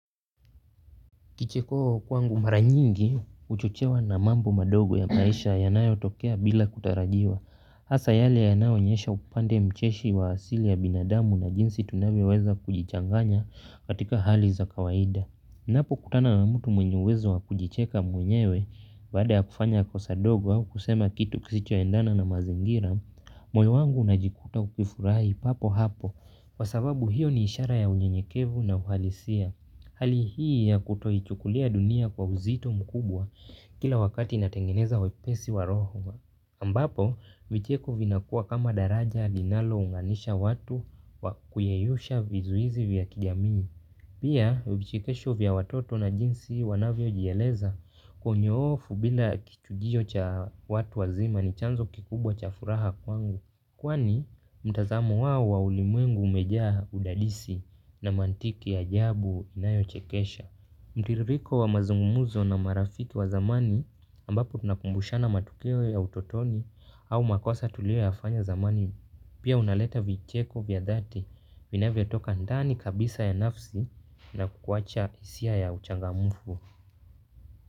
Kichikoo kwangu mara nyingi, huchochewa na mambo madogo ya maisha yanayo tokea bila kutarajiwa. Hasa yale yanayo onyesha upande mcheshi wa asili ya binadamu na jinsi tunavyoweza kujichanganya katika hali za kawaida. Napo kutana na mtu mwenye uwezo wa kujicheka mwenyewe baada ya kufanya kosa dogo au kusema kitu kisicho endana na mazingira. Moyo wangu unajikuta ukifurahi papo hapo kwa sababu hiyo ni ishara ya unyenyekevu na uhalisia. Hali hii ya kutoichukulia dunia kwa uzito mkubwa kila wakati inatengeneza wepesi wa roho. Ambapo, vicheko vinakua kama daraja linalo unganisha watu wa kuyeyusha vizuizi vya kijamii. Pia, vichekesho vya watoto na jinsi wanavyo jieleza kwa unyoofu bila kichujio cha watu wazima ni chanzo kikubwa cha furaha kwangu. Kwani mtazamo wao wa ulimwengu umejaa udadisi na mantiki ya ajabu inayo chekesha. Mtiririko wa mazungumuzo na marafiki wa zamani ambapo tunakumbushana matukio ya utotoni au makosa tulio yafanya zamani. Pia unaleta vicheko vya dhati vinavyo toka ndani kabisa ya nafsi na kuwacha hisia ya uchangamufu.